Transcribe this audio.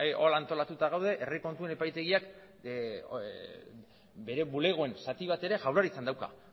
hola antolatuta gaude herri kontuen epaitegiak bere bulegoen zati bat ere jaurlaritzan dauka